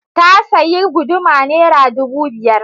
Ta sayi guduma Naira ɗubu biyar.